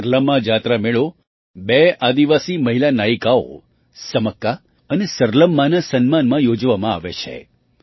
સરલમ્મા જાતરા મેળો બે આદિવાસી મહિલા નાયિકાઓ સમક્કા અને સરલમ્માના સન્માનમાં યોજવામાં આવે છે